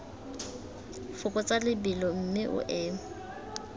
fokotsa lebelo mme o eme